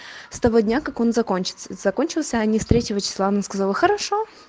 с того дня как он закончится закончился они с третьего числа она сказала хорошо